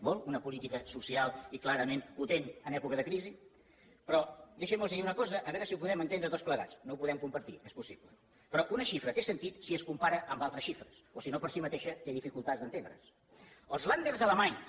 vol una política social i clarament potent en època de crisi però deixin me dir los una cosa a veure si ho podem entendre tots plegats no ho podem compartir és possible però una xifra té sentit si es compara amb altres xifres o si no per si mateixa té dificultats d’entendre’s